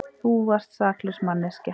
Þú varst saklaus manneskja.